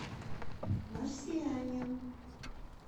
марсианин